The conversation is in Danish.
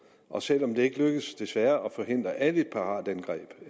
og selv om det ikke lykkes desværre at forhindre alle piratangreb